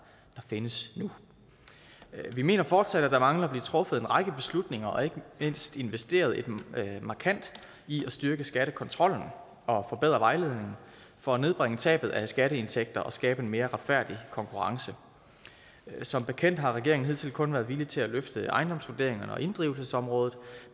findes nu vi mener fortsat at der mangler at blive truffet en række beslutninger og ikke mindst investeret markant i at styrke skattekontrollen og forbedre vejledningen for at nedbringe tabet af skatteindtægter og skabe en mere retfærdig konkurrence som bekendt har regeringen hidtil kun været villig til at løfte ejendomsvurderingerne og inddrivelsesområdet